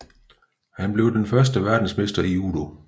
Han blev den første verdensmester i judo